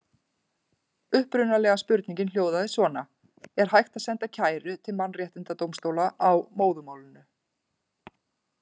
Upprunalega spurningin hljóðaði svona: Er hægt að senda kæru til mannréttindadómstóla á móðurmálinu?